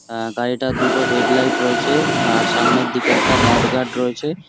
আ গাড়িটার দুটো head light রয়েছে। আর সামনের দিকে একটা মড গাট রয়েছে ।